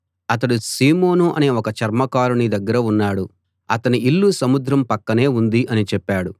అతడు సీమోను అనే ఒక చర్మకారుని దగ్గర ఉన్నాడు అతని ఇల్లు సముద్రం పక్కనే ఉంది అని చెప్పాడు